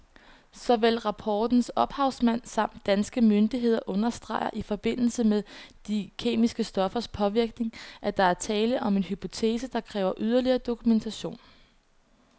Såvel rapportens ophavsmænd samt danske myndigheder understreger i forbindelse med de kemiske stoffers påvirkning, at der er tale om en hypotese, der kræver yderligere dokumentation.